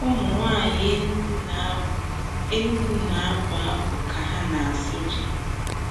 Ụmụnwaanyị Enugwu na-abụ Enugwu na-abụ abụ ka ha na-asụ ji.